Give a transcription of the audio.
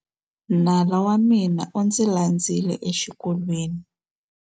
Nala wa mina u ndzi landzile exikolweni.